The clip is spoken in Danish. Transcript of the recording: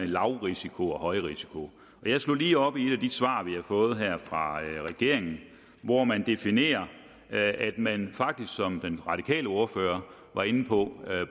lavrisiko og højrisiko jeg slog lige op i et af de svar vi har fået fra regeringen hvor man definerer at man faktisk som den radikale ordfører var inde på